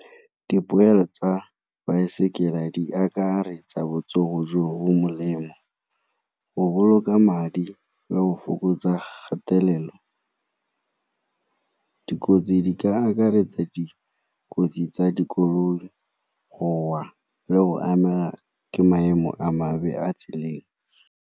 Dipoelo tsa baesekele di akaretsa botsogo jo bo molemo, go boloka madi le go fokotsa kgatelelo. Dikotsi di ka akaretsa dikotsi tsa dikoloi, go wa le go ama ke maemo a mabe a tseleng.